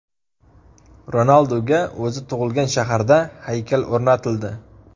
Ronalduga o‘zi tug‘ilgan shaharda haykal o‘rnatildi .